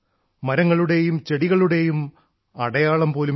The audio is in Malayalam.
മരങ്ങളുടെയും ചെടികളുടെയും അടയാളം പോലുമില്ല